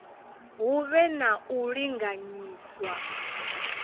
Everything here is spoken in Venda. hu vhe na u linganyiswa